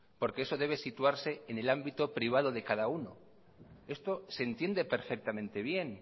porque eso debe situarse en el ámbito privado de cada uno esto se entiende perfectamente bien